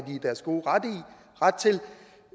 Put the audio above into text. i deres gode ret til